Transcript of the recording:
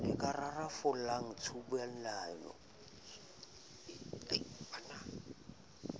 le ka rarollang tshubuhlellano e